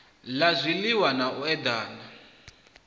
la zwiliwa na u edela